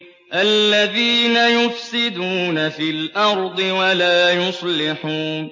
الَّذِينَ يُفْسِدُونَ فِي الْأَرْضِ وَلَا يُصْلِحُونَ